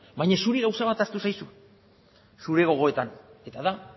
baina zuri gauza bat ahaztu zaizu zure gogoetan eta da